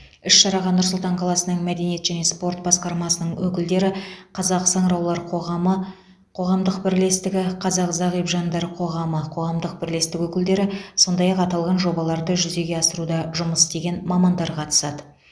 іс шараға нұр сұлтан қаласының мәдениет және спорт басқармасының өкілдері қазақ саңыраулар қоғамы қоғамдық бірлестігі қазақ зағип жандар қоғамы қоғамдық бірлестігі өкілдері сондай ақ аталған жобаларды жүзеге асыруда жұмыс істеген мамандар қатысады